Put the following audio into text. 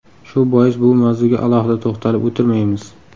Shu bois bu mavzuga alohida to‘xtalib o‘tirmaymiz.